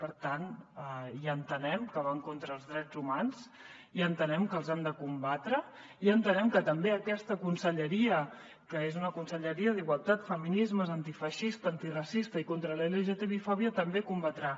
per tant ja entenem que van contra els drets humans ja entenem que els hem de combatre ja entenem que també aquesta conselleria que és una conselleria d’igualtat feminismes antifeixista antiracista i contra la lgtbifòbia també els combatrà